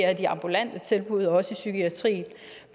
at de ambulante tilbud også i psykiatrien